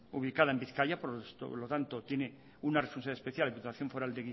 ubicada en bizkaia por lo tanto tiene una responsabilidad especial la diputación foral